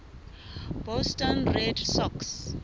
boston red sox